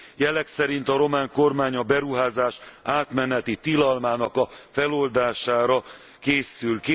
A jelek szerint a román kormány a beruházás átmeneti tilalmának a feloldására készül.